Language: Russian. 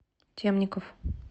темников